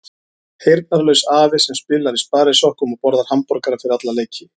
Heyrnarlaus afi sem spilar í sparisokkum og borðar hamborgara fyrir alla leiki.